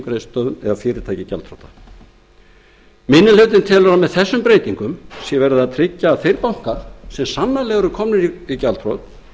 greiðslustöðvun ef fyrirtæki er gjaldþrota minni hlutinn telur að með þessum breytingum sé verið að tryggja að þeir bankar sem sannanlega eru komnir í gjaldþrot